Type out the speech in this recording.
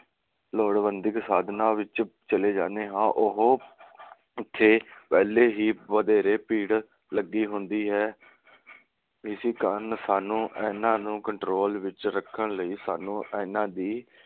ਲੋੜਵੰਧਿਕ ਸਾਧਨਾਂ ਵਿਚ ਚਲੇ ਜਾਂਦੇ ਹਾ। ਉਹ ਉਥੇ ਪਹਿਲੇ ਹੀ ਵਧੇਰੇ ਭੀੜ ਲੱਗੀ ਹੁੰਦੀ ਹੈ। ਇਸੀ ਕਾਰਨ ਸਾਨੂੰ ਇਨ੍ਹਾਂ ਨੂੰ control ਵਿਚ ਰੱਖਣ ਲਈ ਸਾਨੂੰ ਇਨ੍ਹਾਂ ਦੀ